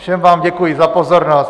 Všem vám děkuji za pozornost.